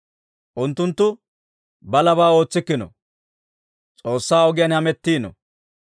Unttunttu balabaa ootsikkino; S'oossaa ogiyaan hamettiino.